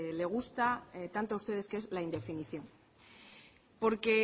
les gusta tanto a ustedes que es la indefinición porque